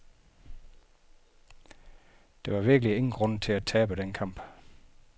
Der var virkelig ingen grund til at tabe den kamp.